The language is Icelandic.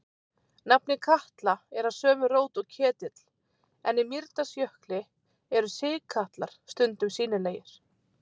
Nafnið Katla er af sömu rót og ketill, en í Mýrdalsjökli eru sigkatlar stundum sýnilegir.